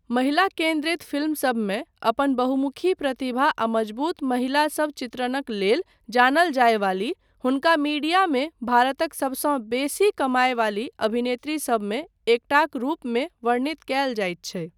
महिला केन्द्रित फिल्मसबमे अपन बहुमुखी प्रतिभा आ मजबूत महिलासब चित्रणक लेल जानल जायवाली, हुनका मीडियामे भारतक सबसँ बेसी कमायवाली अभिनेत्रीसबमे एकटाक रूपमे वर्णित कयल जाइत छै।